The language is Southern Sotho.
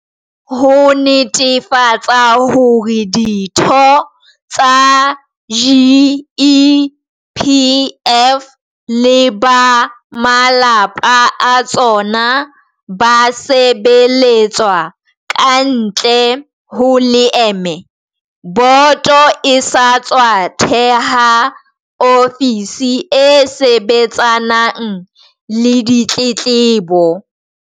Ho netefatsa hore ditho tsa GEPF le ba malapa a tsona ba sebeletswa kantle ho leeme, boto e sa tswa theha ofisi e sebetsanang le ditletlebo.